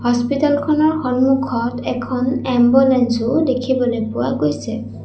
Hospital খনৰ সন্মুখত এখন এম্বুলেঞ্চ ও দেখিবলৈ পোৱা গৈছে।